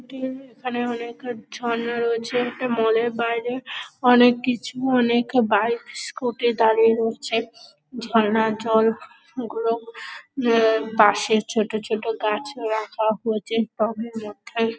এখানে অনেকের ঝর্ণা রয়েছে। একটি মল -এর বাইরে অনেক কিছু অনেক বাইক স্কুটি দাঁড়িয়ে রয়েছে ঝর্ণার জল গুলো। আহ পাশে ছোট ছোট গাছ রাখা হয়েছে টবের মধ্যে।